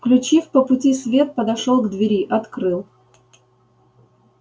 включив по пути свет подошёл к двери открыл